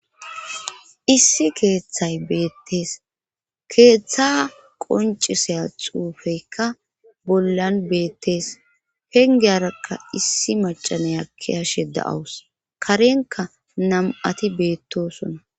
issi keeththay beettees keeththa qonciseya xuufeykka bollan beettees pengeyarakka issi macaney akki hashe da7awus karenka nam7ati beettosona